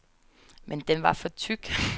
Men den var for tyk.